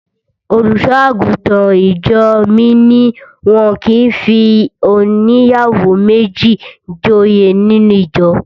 Olùṣọ́-àgùntàn ìjọ mi ní wọn kì í fi óníyàwó méjì joyè nínú ìjọ.